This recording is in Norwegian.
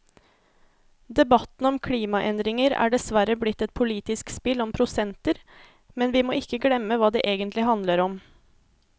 Debatten om klimaendringer er dessverre blitt et politisk spill om prosenter, men vi må ikke glemme hva det egentlig handler om.